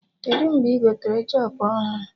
Kedụ mgbe ị gotere jop ọhụrụ?